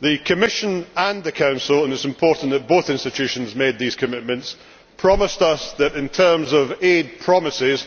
The Commission and the Council and it is important that both institutions made these commitments promised us that, in terms of aid promises,